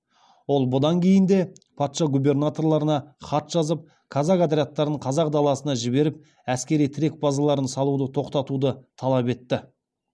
ол бұдан кейін де патша губернаторларына хат жазып казак отрядтарын қазақ даласына жіберіп әскери тірек базалар салуды тоқтатуды талап етті